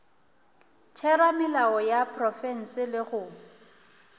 theramelao ya profense le go